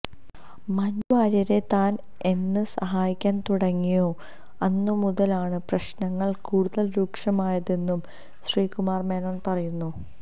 മഞ്ജു വാര്യരെ താന് എന്ന് സഹായിക്കാന് തുടങ്ങിയോ അന്നു മുതലാണ് പ്രശ്നങ്ങള് കൂടുതല് രൂക്ഷമായതെന്നും ശ്രീകുമാർ മേനോൻ പറയുന്നു